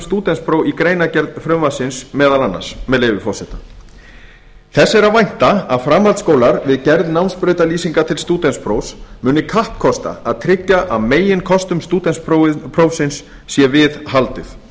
stúdentspróf í greinargerð frumvarpsins meðal annars með leyfi forseta þess er að vænta að framhaldsskólar við gerð námsbrautarlýsinga til stúdentsprófs muni kappkosta að tryggja að meginkostum stúdentsprófsins sé við haldið